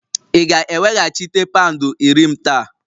Ị ga-eweghachite pound iri m taa?